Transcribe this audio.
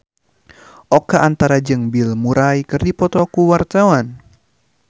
Oka Antara jeung Bill Murray keur dipoto ku wartawan